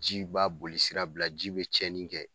Ji b'a boli sira bila, ji be tiɲɛnin kɛ.